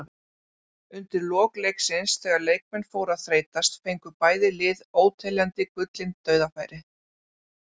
Undir lok leiksins þegar leikmenn fóru að þreytast fengu bæði lið óteljandi gullin dauðafæri.